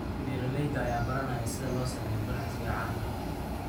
Beeralayda ayaa baranaya sida loo sameeyo ganacsiga caanaha.